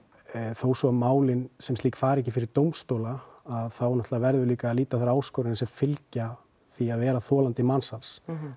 þó svo að málin sem slík fari ekki fyrir dómstóla þá verðum við líka að líta á þær áskoranir sem fylgja því að vera þolandi mansals